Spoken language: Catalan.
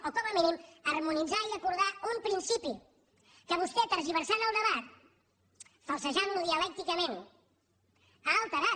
o com a mínim harmonitzar i acordar un principi que vostè tergiversant el debat falsejant lo dialècticament ha alterat